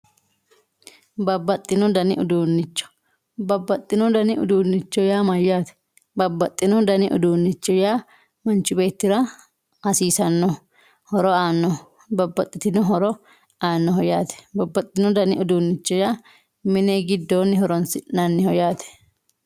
babbaxxino dani uduunnicho babbaxxino dani uduunnicho yaa mayyaate? babbaxxino daniuduunnicho yaa manchi beettira hasiisannoho horo aannoho babbaxxitino horo aannoho yaate babbaxitino dani uduunnicho yaa minigiddooni horonsi'nanniho yaate.